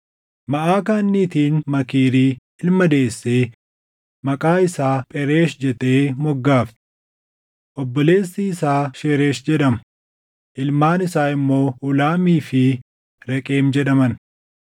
Maʼakaan niitiin Maakiirii ilma deessee maqaa isaa Phereesh jettee moggaafte. Obboleessi isaa Sheresh jedhama; ilmaan isaa immoo Uulaamii fi Reqem jedhaman.